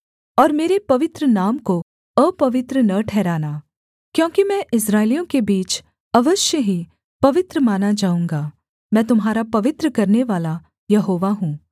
और मेरे पवित्र नाम को अपवित्र न ठहराना क्योंकि मैं इस्राएलियों के बीच अवश्य ही पवित्र माना जाऊँगा मैं तुम्हारा पवित्र करनेवाला यहोवा हूँ